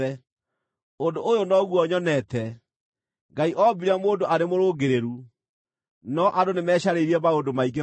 Ũndũ ũyũ noguo nyonete: Ngai oombire mũndũ arĩ mũrũngĩrĩru, no andũ nĩmecarĩirie maũndũ maingĩ ma wara.”